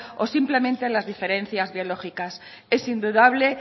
o simplemente las diferencias biológicas es indudable